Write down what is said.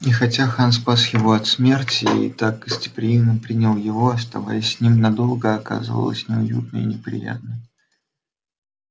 и хотя хан спас его от смерти и так гостеприимно принял его оставаться с ним надолго оказывалось неуютно и неприятно